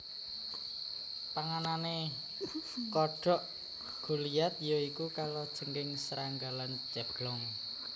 Panganane kodhok goliath ya iku kalajengking serangga lan ceblong